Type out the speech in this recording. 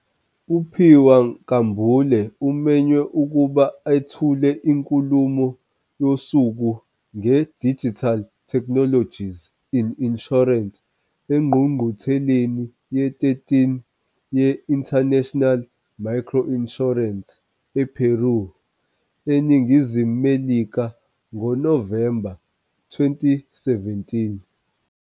UPhiwa Nkambule umenywe ukuba ethule inkulumo yosuku ngeDigital Technologies in Insurance eNgqungqutheleni ye-13 ye-International Microinsurance ePeru, eNingizimu Melika ngoNovemba 2017.